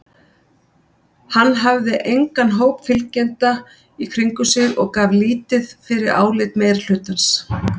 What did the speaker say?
Hann hafði engan hóp fylgjenda í kringum sig og gaf lítið fyrir álit meirihlutans.